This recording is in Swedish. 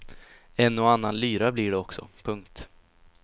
En och annan lyra blir det också. punkt